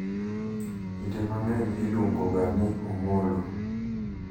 Kinde mang'eny iluongo ga ni "Omolo,"